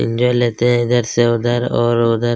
enjoy लेते हैं इधर से उधर और उधर--